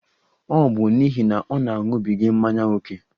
Ọ bụ n'ihi na ọ na-aṅụbiga mmanya ókè.